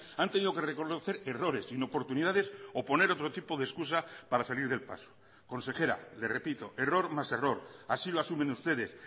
han tenido que reconocer errores inoportunidades o poner otro tipo de excusa para salir del paso consejera le repito error más error así lo asumen ustedes